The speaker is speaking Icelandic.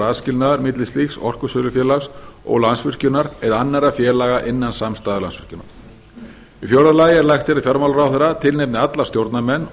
aðskilnaður milli slíks orkusölufélags og landsvirkjunar eða annarra félaga innan samstæðu landsvirkjunar í fjórða lagi er lagt til að fjármálaráðherra tilnefni alla stjórnarmenn